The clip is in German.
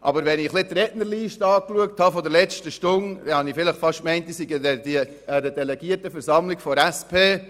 Aber die Rednerliste der vergangenen Stunde hat mich fast dazu gebracht, mich zu fühlen, als befände ich mich an einer Delegiertenversammlung der SP.